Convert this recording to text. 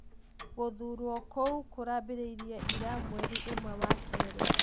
Gũthuurwo kũu kurambĩrĩirie ira, mweri imwe wa kerĩ.